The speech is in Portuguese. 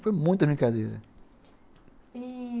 Foi muita brincadeira.